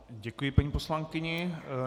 Děkuji paní poslankyni.